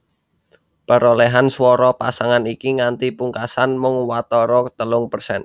Perolèhan swara pasangan iki nganti pungkasan mung watara telung persèn